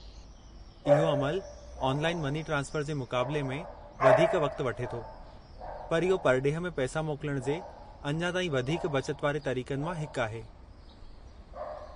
इहो अमलु online money transfer जे मुक़ाबले में वधीक वक़्तु वठे थो, पर इहो परॾेह में पैसा मोकलण जे अञां ताईं वधीक बचत वारे तरीक़नि मां हिकु आहे।